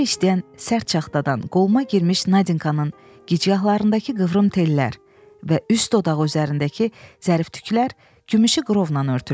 İliyə işləyən sərt şaxtadan qoluma girmiş Nadinkanın gicgahlarındakı qıvrım tellər və üst dodağı üzərindəki zərif tüklər gümüşü qrovnan örtülür.